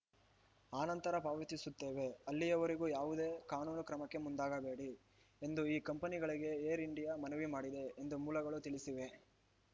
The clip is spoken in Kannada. ಆನಂತರ ಪಾವತಿಸುತ್ತೇವೆ ಅಲ್ಲಿವರೆಗೂ ಯಾವುದೇ ಕಾನೂನು ಕ್ರಮಕ್ಕೆ ಮುಂದಾಗಬೇಡಿ ಎಂದು ಈ ಕಂಪನಿಗಳಿಗೆ ಏರ್‌ ಇಂಡಿಯಾ ಮನವಿ ಮಾಡಿದೆ ಎಂದು ಮೂಲಗಳು ತಿಳಿಸಿವೆ